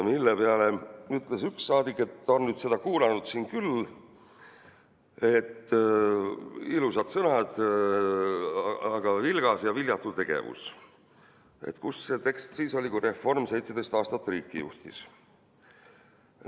Selle peale ütles üks saadik, et on seda kuulanud siin juba küllalt, ilusad sõnad, aga vilgas ja viljatu tegevus – et kus see tekst siis oli, kui Reform 17 aastat riiki juhtis.